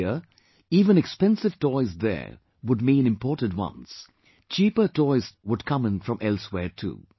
Earlier even expensive toys there would mean imported ones; cheaper toys too would come in from elsewhere too